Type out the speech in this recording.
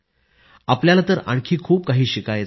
आपल्याला तर आणखी खूप काही शिकायचं आहे